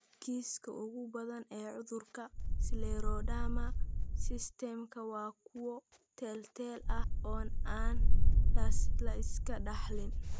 Kiisaska ugu badan ee cudurka scleroderma systemika waa kuwo teel-teel ah oo aan la iska dhaxlin.